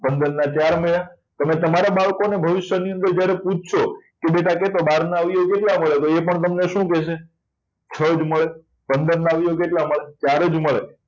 પંદર ના ચાર મળ્યા તમે તમારા બાળકોને ભવિષ્યની અંદર જ્યારે તમે પૂછશો કે બેટા કે તો બહારના કેટલા મળે તો એ પણ તમને શું કહેશે છ જ મળે પંદર ના આવ્યો કેટલા મળે ચાર જ મળે